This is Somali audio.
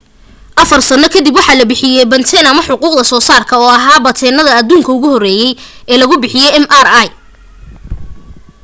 afar sano ka dib waxaa la bixiyay batente ama xuquuqda soo saarka oo ahaa bateentaha aduunka ugu horeeyey ee lagu bixiyay mri